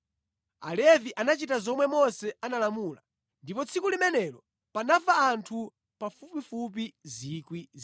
Alevi anachita zomwe Mose analamula, ndipo tsiku limenelo panafa anthu pafupifupi 3,000.